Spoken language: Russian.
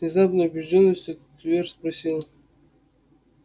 с внезапной убеждённостью твер спросил